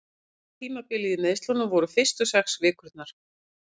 Versta tímabilið í meiðslunum voru fyrstu sex vikurnar.